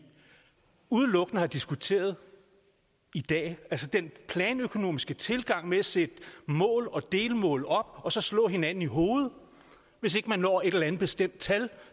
udelukkende har diskuteret i dag altså den planøkonomiske tilgang med at sætte mål og delmål op og så slå hinanden i hovedet hvis ikke man når et eller andet bestemt tal